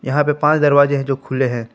यहां पे पांच दरवाजे हैं जो खुले हैं।